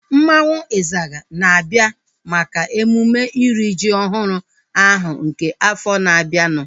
Mmanwu Izaga na-abịa maka emume iri ji ọhụrụ ahu nke afọ na-abianu